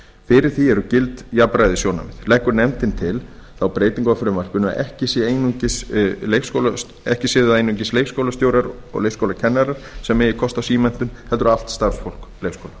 fyrir því séu gild jafnræðissjónarmið leggur nefndin til þá breytingu á frumvarpinu að ekki einungis leikskólastjórar og leikskólakennarar eigi kost á símenntun heldur allt starfsfólk leikskóla